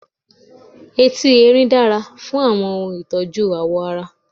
Etí Erin dára fún àwọn ohun ìtọ́jú ààwọ̀ ara.